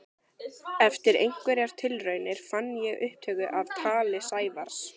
Eftir einhverjar tilraunir fann ég upptöku af tali Sævars.